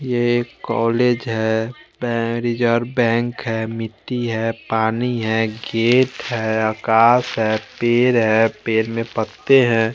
ये एक कॉलेज है बैंक है मिटटी है पानी है गेट है घास है पेड़ है पेड़ में पत्ते है।